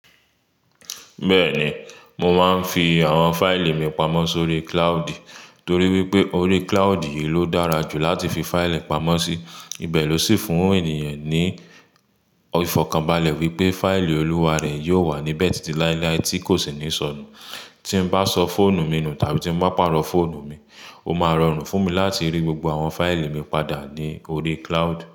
Bẹ́ẹ̀ni, mo máa ń fi àwọn fáìlì mi pamọ́ sórí cloud torí wípé orí cloud yìí ló dára jù láti fi fáìlì pamọ́ sí. Ibẹ̀ ló sì fún ènìyàn ní ìfọ̀kànbalẹ̀ wípé fáìlì olúwa rẹ̀ yóò wà níbẹ̀ títí láíláí tí kò sì ní sọnù. Tí n bá sọ fóònù mi nù tàbí tí n bá pàrọ̀ fóònù mi, ó máa rọrùn fún mi láti rí gbogbo àwọn fáìlì mi padà ní orí cloud.